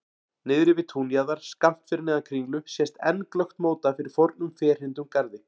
Niðri við túnjaðar, skammt fyrir neðan Kringlu sést enn glöggt móta fyrir fornum ferhyrndum garði.